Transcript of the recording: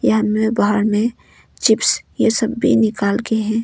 यहां में बाहर में चिप्स ये सब भी निकाल के है।